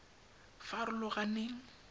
farologaneng